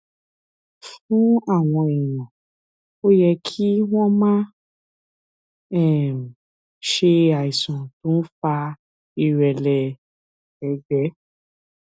fún àwọn èèyàn ó yẹ kí wón máa um ṣe àìsàn tó ń fa ìrẹlẹ ẹgbẹ